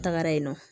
N tagara yen nɔ